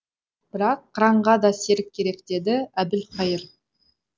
бірақ қыранға да серік керек деді әбілқайыр